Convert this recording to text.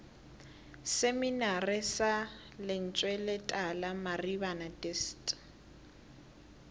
seminari sa lentsweletala maribana dist